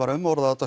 umorða og